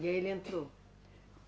E ele entrou?